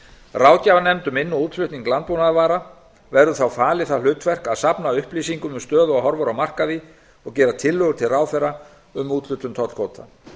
ráðgjafarnefnd um inn og útflutning landbúnaðarvara verður þá falið það hlutverk að safna upplýsingum um stöðu og horfur á markaði og gera tillögur til ráðherra um úthlutun tollkvóta